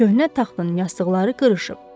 Köhnə taxtın yastıqları qırışıb.